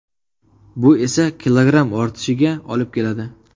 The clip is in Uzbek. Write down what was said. Bu esa kilogramm ortishiga olib keladi.